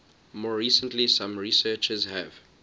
more recently some researchers have